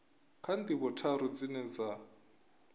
kha ndivho tharu dzine dza